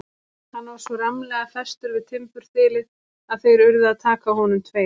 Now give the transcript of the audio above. Hann var svo rammlega festur við timburþilið að þeir urðu að taka á honum tveir.